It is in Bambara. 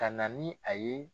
Ka na ni a ye